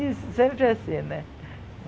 Isso, sempre assim, né?